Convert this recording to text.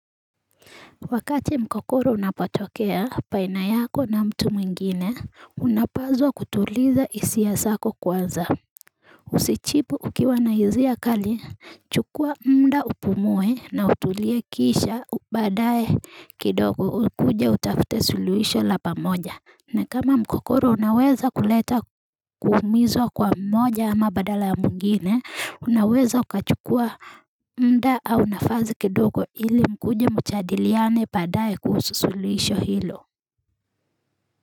Wakati mkokoro unapatokea baina yako na mtu mwingine, unapazwa kutuliza isi ya zako kwanza. Usijibu ukiwanaisia kali, chukua mda upumue na utulie kisha badaye kidogo ukuje utafute suluisho la pamoja. Na kama mgogoro unaweza kuleta kumizwa kwa mmoja ama badala ya mwingine, unaweza ukachukua mda au nafazi kidogo ili mkuje mjadiliane badaye kuhusulisho hilo.